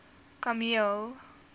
kameel